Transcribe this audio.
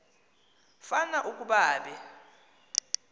fan ukuba be